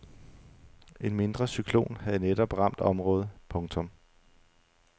En mindre cyklon havde netop ramt området. punktum